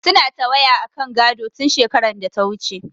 Suna ta waya akan gado, tun shekarar data wuce.